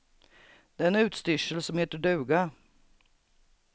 Det är en utstyrsel som heter duga.